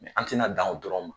An tɛna da o dɔrɔn ma